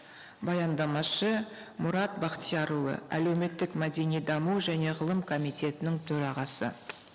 баяндамашы мұрат бақтиярұлы әлеуметтік мәдени даму және ғылым комитетінің төрағасы